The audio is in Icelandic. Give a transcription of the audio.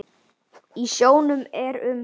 Í sjónum eru um